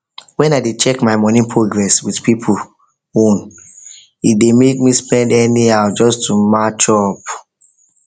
when i dey check my money progress with people own e dey make me spend anyhow just to match up